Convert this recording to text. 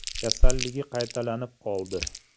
Kasalligi qaytalanib qoldi.